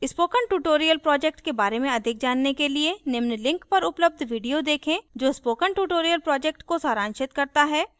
spoken tutorial project के बारे में अधिक जानने के लिए निम्न link पर उपलब्ध video देखें जो spoken project tutorial को सारांशित करता है